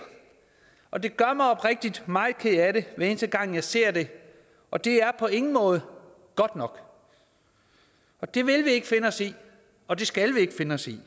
og det gør mig oprigtig talt meget ked af det hver eneste gang jeg ser det og det er på ingen måde godt nok det vil vi ikke finde os i og det skal vi ikke finde os i